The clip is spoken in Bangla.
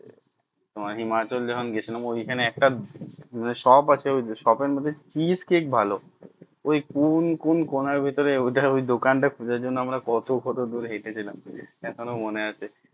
তোমার হিমাচল যখন গিয়ে ছিলাম ওই খানে একটা shop আছে shop এর মধ্যে fish cake ভালো ওই কোন কোন কণার ভেতরে ওইটা ওই দোকান টা খোঁজার জন্য আমরা কত কত দূর হেঁটে ছিলাম এখনো মনে আছে